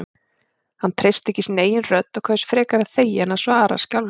Hann treysti ekki sinni eigin rödd og kaus frekar að þegja en að svara skjálfraddað.